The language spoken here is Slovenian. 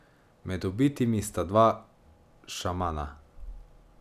Med ubitimi sta dva šamana.